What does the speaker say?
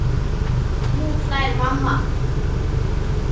Nú hlær mamma.